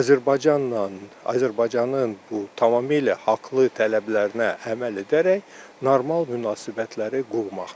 Azərbaycanla, Azərbaycanın bu tamamilə haqlı tələblərinə əməl edərək normal münasibətləri qurmaqdır.